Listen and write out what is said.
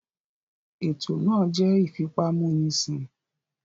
Ètò náà jẹ́ ìfipámúnisìn